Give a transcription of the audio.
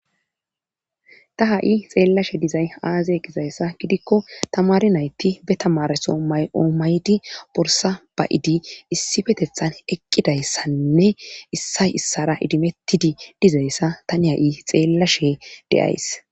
ta ha7i xeellashe dizay aaze gizayssa gidikko tamari nayti be tamareso may7oo maydi borsa ba7idi issifetethan eqqidayssanne issay issara idimettidi dizayssa tani ha7i xeellashe deyays